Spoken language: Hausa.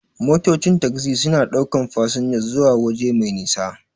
Motocin tagzi suna ɗaukan fasinja suwa waje mai nisa.